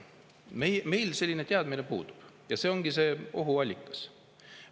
Meil selline teadmine puudub ja see ongi ohuallikas.